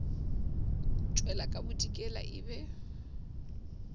tšwela ka bodikela e be